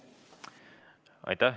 Aitäh!